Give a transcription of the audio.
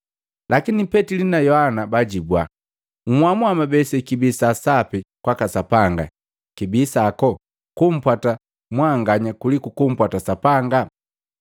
Lakini Petili na Yohana baajibwa, “Nhamua mwabe sekibi saa sapi kwaka Sapanga kibii kwako, kumpwata mwanganya kuliku kumpwata Sapanga.